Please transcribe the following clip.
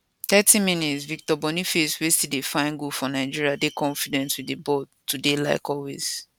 30mins victor boniface wey still dey find goal for nigeria dey confident wit di ball today like always